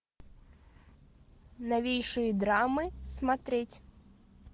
новейшие драмы смотреть